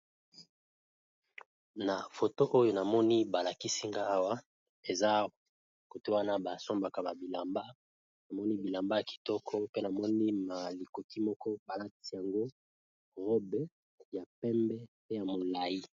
Na foto oyo namoni balakisinga awa eza kotewana basombaka ba bilamba namoni bilamba ya kitoko mpe namoni ma likoki moko palati yango robe ya pembe pe ya molayi.